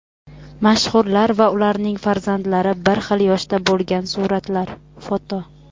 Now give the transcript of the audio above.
Mashhurlar va ularning farzandlari bir xil yoshda bo‘lgan suratlar (foto).